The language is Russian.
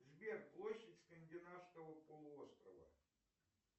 сбер площадь скандинавского полуострова